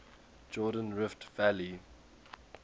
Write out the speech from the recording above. jordan rift valley